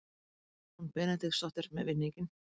María Rún Benediktsdóttir með vinninginn.